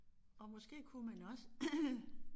Og måske kunne man også